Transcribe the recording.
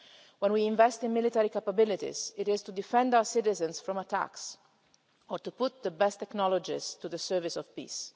When we invest in military capabilities, it is to defend our citizens from attacks or to put the best technologies to the service of peace.